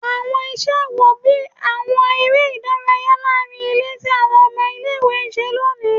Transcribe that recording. Awọn iṣẹ wo, bii awọn ere idaraya laarin ile ti awọn ọmọ ile-iwe n ṣe loni?